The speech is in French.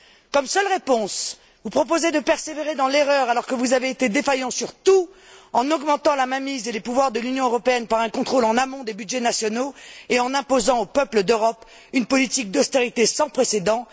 Comme seule réponse, vous proposez de persévérer dans l'erreur alors que vous avez été défaillant sur tout, en augmentant la mainmise et les pouvoirs de l'Union européenne par un contrôle en amont des budgets nationaux et en imposant aux peuples d'Europe une politique d'austérité sans précédent.